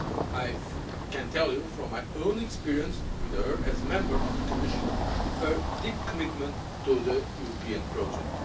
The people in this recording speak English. I can assure you, from my own experience with her as a Member of the Commission, of her deep commitment to the European project.